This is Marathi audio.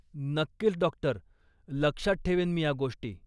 नक्कीच डॉक्टर! लक्षात ठेवेन मी ह्या गोष्टी.